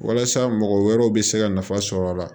Walasa mɔgɔ wɛrɛw be se ka nafa sɔrɔ a la